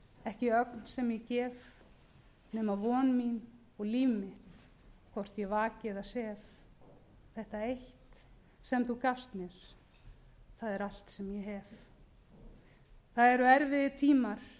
ekki ögn sem ég gef nema von mína og líf mitt hvort ég vaki eða sef þetta eitt sem þú gafst mér það er allt sem ég hef það eru erfiðir tímar